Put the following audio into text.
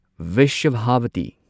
Vrishabhavati